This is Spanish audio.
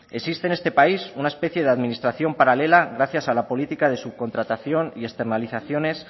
existe en este país una especie de administración paralela gracias a la política de subcontratación y externalizaciones